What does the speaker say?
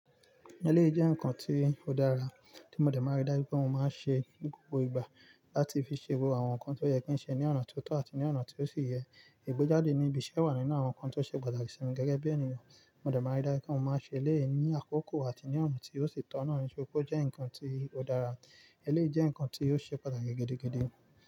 Eléyìí jẹ́ nǹkan tí ó dára tí mo dẹ̀ máa ń rí dájú pé mo máa n ṣe ní gbogbo ìgbà láti fi ṣe gbogbo àwọn nǹkan tó yẹ kí n ṣe ní ọ̀na tó tọ́ àti ní ọ̀na tó sì yẹ. Ìgbéjáde ní ibiṣẹ́ wà nínú àwọn nǹkan tó ṣe pàtàkì sí mi gẹ́gẹ́ bí ènìyàn. Mo dẹ̀ máa ń rí dájú pé mo máa n ṣe eléyìí ní àkókò àti ní ọ̀na tí ó sì tọ́nà ní o jẹ́ nǹkan tí ó dára. Eléyìí jẹ́ nǹkan tí ó ṣe pàtàkì gidigidi.